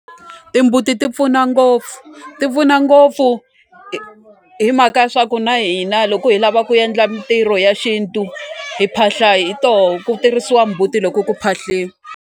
Timbuti ti pfuna ngopfu ti pfuna ngopfu hi mhaka ya swa ku na hina loko hi lava ku endla mintirho ya xintu hi phahla hi toho ku tirhisiwa mbuti loko ku .